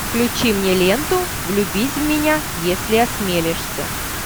включи мне ленту влюбись в меня если осмелишься